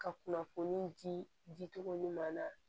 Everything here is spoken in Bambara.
Ka kunnafoni di di di cogo ɲuman na